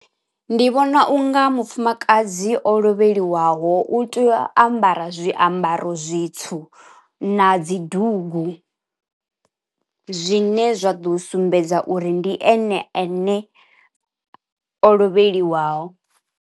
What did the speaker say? Ndi vhona unga mufumakadzi o lovheliwaho u tea u ambara zwiambaro zwitswu na dzi dugu, zwine zwa ḓo sumbedza uri ndi ene ane o lovheliwaho.